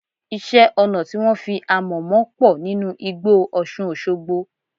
Iṣẹ́-ọnà tí wọ́n fi amọ̀ mọ pọ̀ nínú igbó Ọṣùn Òṣogbo.